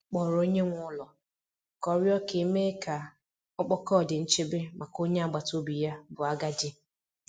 Ọ kpọrọ onye nwe ụlọ ka ọ rịọ ka e mee ka ọkpọkọ di nchebe maka onye agbata obi ya bụ agadi.